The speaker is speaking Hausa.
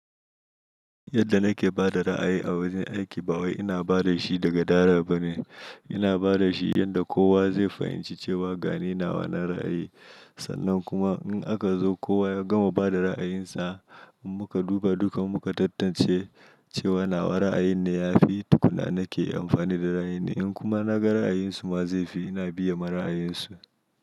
Yadda nake ba da ra'ayi a wajen aiki ba wai ina ba da shi da gadara ba ne. Ina ba da shi yanda da kowa zai fahimci cewa ga ni nawa na ra'ayi. Sannan kuma in aka zo kowa ya gama ba da ra'ayinsa, in muka duba duka muka tantance cewa nawa ra'ayin ne ya fi, tukuna nake amfani da ra'ayi ne. In kuma na ga ra'ayinsu ma zai fi, ina biye ma ra'ayinsu.